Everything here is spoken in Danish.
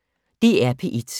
DR P1